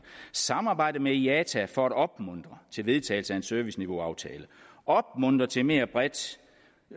samarbejde med iata for at opmuntre til vedtagelse af en serviceniveauaftale opmuntre til mere